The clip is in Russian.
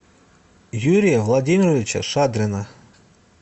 юрия владимировича шадрина